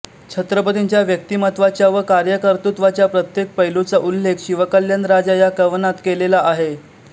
छत्रपतींच्या व्यक्तिमत्त्वाच्या व कार्यकर्तृत्वाच्या प्रत्येक पैलूचा उल्लेख शिवकल्याण राजा या कवनात केलेला आहे